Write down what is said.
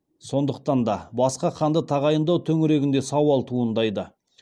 сондықтан да басқа ханды тағайындау төңірегінде сауал туындайды